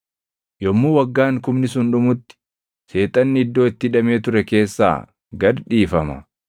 Yommuu waggaan kumni sun dhumutti Seexanni iddoo itti hidhamee ture keessaa gad dhiifama;